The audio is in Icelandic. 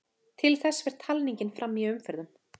Til þess fer talningin fram í umferðum.